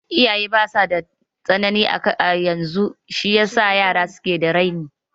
Iyaye basa tsanani da tarbiya yanzu shi yasa yara suke da raini